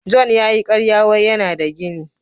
" John " ya yi karya wai yana da gini.